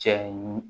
Cɛ ye